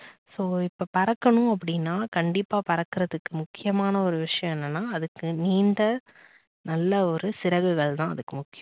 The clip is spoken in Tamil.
so இப்ப பறக்கணும் அப்படின்னா கண்டிப்பா பறக்கறதுக்கு முக்கியமான ஒரு விஷயம் என்னன்னா அதுக்கு நீண்ட நல்ல ஒரு சிறகுகள் தான் அதுக்கு முக்கியம்.